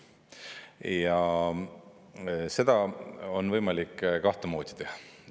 Ja seda on võimalik kahtemoodi teha.